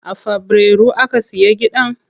A fabrairu aka siya gidan ko?